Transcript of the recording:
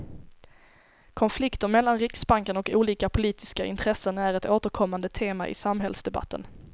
Konflikter mellan riksbanken och olika politiska intressen är ett återkommande tema i samhällsdebatten.